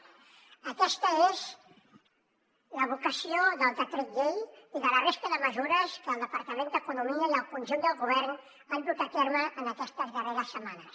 aquesta és la vocació del decret llei i de la resta de mesures que el departament d’economia i el conjunt del govern han dut a terme en aquestes darreres setmanes